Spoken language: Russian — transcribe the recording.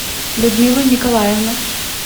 людмилу николаевну